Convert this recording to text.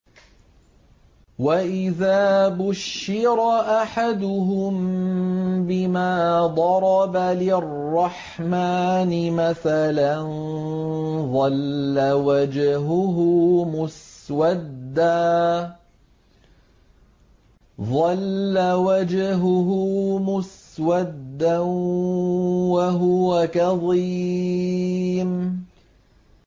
وَإِذَا بُشِّرَ أَحَدُهُم بِمَا ضَرَبَ لِلرَّحْمَٰنِ مَثَلًا ظَلَّ وَجْهُهُ مُسْوَدًّا وَهُوَ كَظِيمٌ